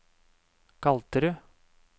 Galterud